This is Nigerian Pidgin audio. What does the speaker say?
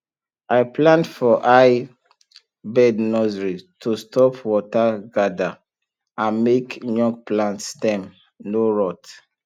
i plant for high bed nursery to stop water gather and make young plant stem no rot